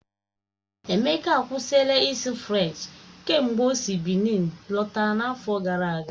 Emeka akwụsịla ịsụ Frenchi kemgbe o si Bịnin lọta n'afọ gara aga.